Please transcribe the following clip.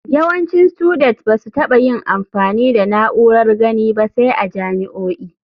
Yawancin studet ba su taɓa yin amfani da na'urar gani ba sai a jami'o'i.